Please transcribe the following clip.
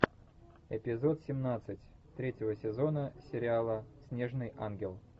эпизод семнадцать третьего сезона сериала снежный ангел